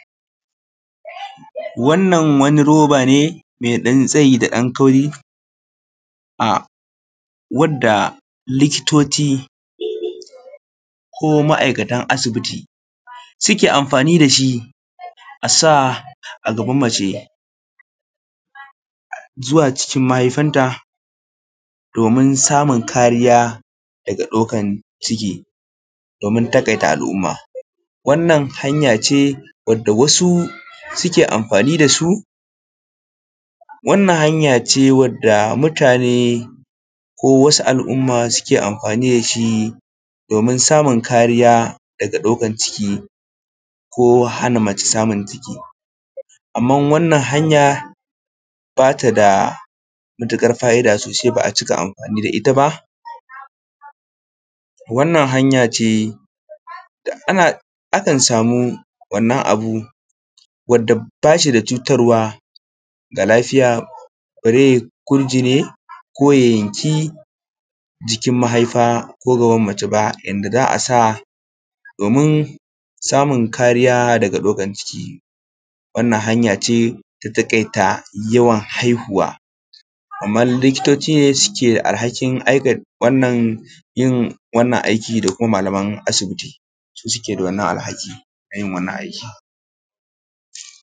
Wannan wani roba ne me ɗan tsayi da ɗan kauri a wanda likitoci ko ma'aikatan asibiti suke amfani da shi asa a gaban mace zuwa cikin mahaifanta domin samun kariya da ɗaukan ciki, domin taƙaita al'umma. wannan hanya ce wanda wasu suke amfani da su, wannan wata hanya ce wanda mutane ko wasu al’umma suke amfani da su domin samun kariya da ɗaukan ciki ko hana mace samunka ciki, amma wannan hanya ba ta da faida sosai ba'a ciki amfani da ita ba. wannana hanya ce da akan samu wannan abu wadda ba shi da cutarwa ga lafiya, bare gur jini ko ya yanki jikin mahaifa ko gaban mace ba da za a sa domin samun kariya da ɗaukan ciki. Wannan hanya ce da taƙaita yawan haihuwa kamar likitoci suke alhakin aikata wannan yin wannan aikin ko kuma malaman asibiti su suke da alhakin yin wannan aikin.